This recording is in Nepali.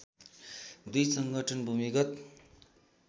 दुई संगठन भूमिगत